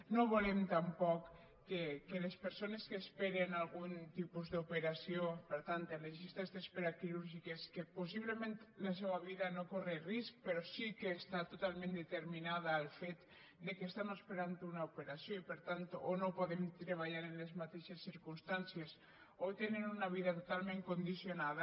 no volem tampoc que les persones que esperen algun tipus d’operació per tant en les llistes d’espera quirúrgiques que possiblement la seva vida no corre risc però sí que està totalment determinada al fet que estan esperant una operació i per tant o no poden treballar en les mateixes circumstàncies o tenen una vida totalment condicionada